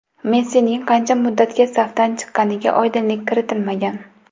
Messining qancha muddatga safdan chiqqaniga oydinlik kiritilmagan.